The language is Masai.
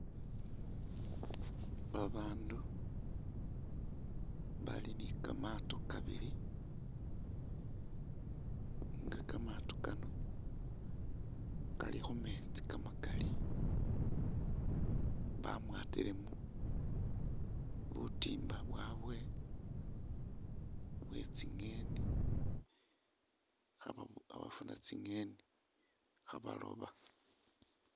Babandu bali ni kamatoo kabili nga kamatoo Kano Kali khumetsi kamakaali bamwatilemo butimba bwabwe bwetsi'ngeni khabafuna tsi'ngebi khabaloba